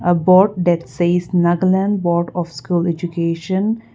about that says nagaland board of school education.